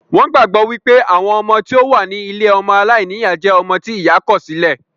Wón gbàgbọ́ wípé àwọn ọmọ tí ó wà ní ilée ọmọ aláìníyá jẹ́ ọmọ tí ìyá kọ̀ sí lẹ̀